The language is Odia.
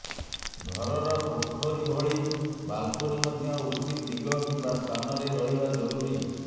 ଘରର କୋଠରୀ ଭଳି ବାଲକୋନୀ ମଧ୍ୟ ଉଚିତ୍ ଦିଗ କିମ୍ବା ସ୍ଥାନରେ ରହିବା ଜରୁରୀ